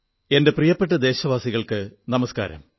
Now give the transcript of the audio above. എന്റെ പ്രിയപ്പെട്ട ദേശവാസികൾക്കു നമസ്കാരം